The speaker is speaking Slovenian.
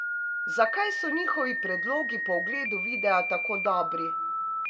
Zakaj so njihovi predlogi po ogledu videa tako dobri?